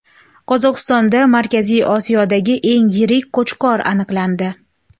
Qozog‘istonda Markaziy Osiyodagi eng yirik qo‘chqor aniqlandi .